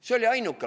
See oli ainuke.